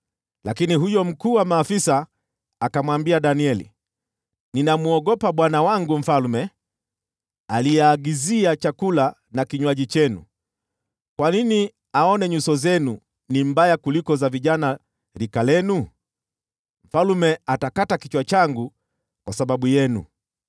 lakini huyo mkuu wa maafisa akamwambia Danieli, “Ninamwogopa bwana wangu mfalme, aliyeagizia chakula na kinywaji chenu. Kwa nini aone nyuso zenu zikiwa mbaya kuliko za vijana wengine wa rika lenu? Mfalme atakata kichwa changu kwa sababu yenu.”